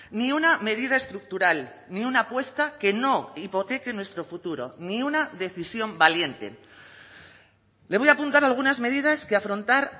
ni una medida estructural ni una apuesta que no hipoteque nuestro futuro ni una decisión valiente le voy a apuntar algunas medidas que afrontar